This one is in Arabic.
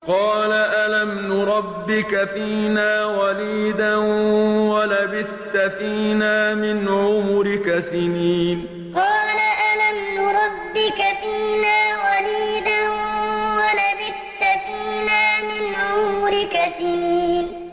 قَالَ أَلَمْ نُرَبِّكَ فِينَا وَلِيدًا وَلَبِثْتَ فِينَا مِنْ عُمُرِكَ سِنِينَ قَالَ أَلَمْ نُرَبِّكَ فِينَا وَلِيدًا وَلَبِثْتَ فِينَا مِنْ عُمُرِكَ سِنِينَ